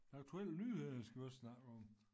Aktuelle nyheder skal vi også snakke om